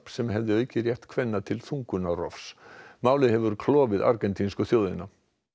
sem hefði aukið rétt kvenna til þungunarrofs málið hefur klofið argentínsku þjóðina